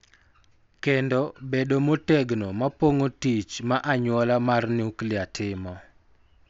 Kendo bedo motegno ma pong�o tich ma anyuola mar nuklia timo.